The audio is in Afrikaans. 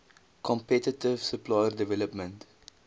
competitive supplier development